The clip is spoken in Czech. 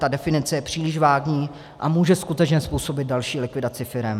Ta definice je příliš vágní a může skutečně způsobit další likvidaci firem.